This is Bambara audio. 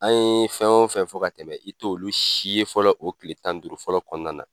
An ye fɛn wo fɛn fɔ ka tɛmɛ i t'olu si ye fɔlɔ,o kile tan ni duuru fɔlɔ kɔnɔna na.